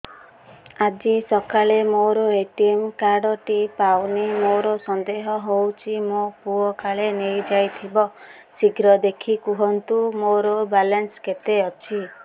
ଆଜି ସକାଳେ ମୋର ଏ.ଟି.ଏମ୍ କାର୍ଡ ଟି ପାଉନି ମୋର ସନ୍ଦେହ ହଉଚି ମୋ ପୁଅ କାଳେ ନେଇଯାଇଥିବ ଶୀଘ୍ର ଦେଖି କୁହନ୍ତୁ ମୋର ବାଲାନ୍ସ କେତେ ଅଛି